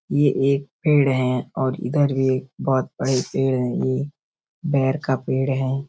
ये एक पेड़ है और इधर भी एक बहुत बड़े पेड़ है ये बेर का पेड़ है।